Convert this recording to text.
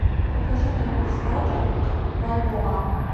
покажи мне курс бата к бальбоа